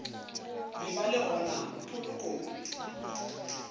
be ba le gona polokong